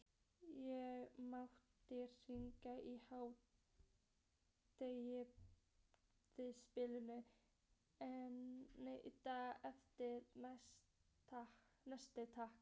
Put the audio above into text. Ég mátti hringja um hádegisbilið daginn eftir, næsti takk!